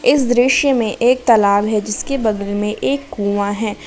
इस दृश्य में एक तालाब है जिसके बगल में एक कुआं है।